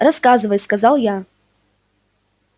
рассказывай сказал я